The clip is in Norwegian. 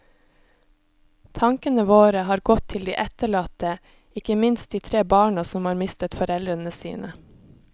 Tankene våre har gått til de etterlatte, ikke minst de tre barna som har mistet foreldrene sine.